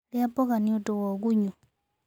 Ria mmboga niundu wa ugunyu